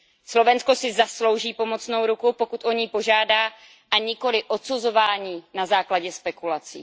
Slovensko si zaslouží pomocnou ruku, pokud o ni požádá, a nikoliv odsuzování na základě spekulací.